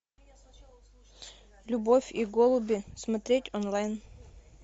любовь и голуби смотреть онлайн